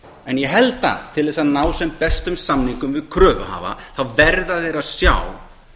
en ég held að til að ná sem bestum samningum við kröfuhafa þá verða þeir að sjá